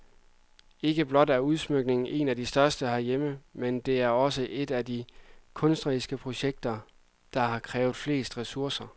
Ikke blot er udsmykningen en af de største herhjemme, men det er også et af de kunstneriske projekter, der har krævet flest resourcer.